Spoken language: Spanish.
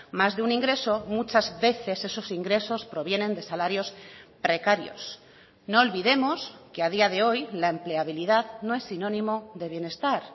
más de un ingreso muchas veces esos ingresos provienen de salarios precarios no olvidemos que a día de hoy la empleabilidad no es sinónimo de bienestar